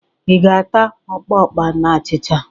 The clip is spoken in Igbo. Ị ga-ata ọpapa na achịcha?